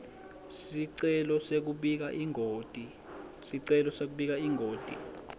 sicelo sekubika ingoti